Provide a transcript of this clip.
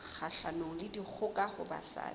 kgahlanong le dikgoka ho basadi